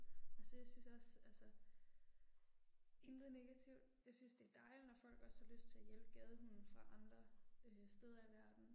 Altså jeg synes også altså. Intet negativt, jeg synes det er dejligt når folk også har lyst til at hjælpe gadehunde fra andre øh steder i verden